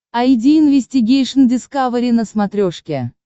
айди инвестигейшн дискавери на смотрешке